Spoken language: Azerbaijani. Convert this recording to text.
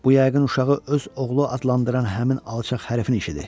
Bu yəqin uşağı öz oğlu adlandıran həmin alçaq hərəfin işidir.